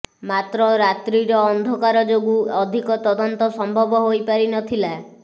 ମାତ୍ର ରାତ୍ରୀର ଅନ୍ଧକାର ଯେ୍ାଗୁଁ ଅଧିକ ତଦନ୍ତ ସମ୍ଭବ ହୋଇପାରିନଥିଲା